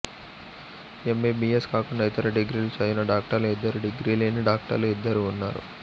MBBS కాకుండా ఇతర డిగ్రీలు చదివిన డాక్టర్లు ఇద్దరు డిగ్రీ లేని డాక్టర్లు ఇద్దరు ఉన్నారు